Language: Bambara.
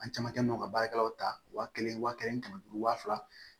An camankɛ bɛ ka baarakɛlaw ta waa kelen wa kɛmɛ ni kɛmɛ duuru wa fila